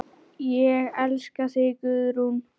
Ég elska þig, Guðrún.